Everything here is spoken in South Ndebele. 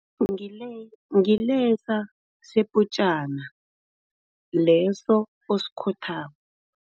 ngilesa seputjana, leso osikhothako.